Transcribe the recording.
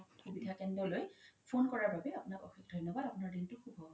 সুবিধা কেন্দ্ৰালয় phone কৰা বাবে আপোনাক অশেশ ধন্যবাদ আপোনাৰ দিনতো সুভ হওক ধন্যবাদ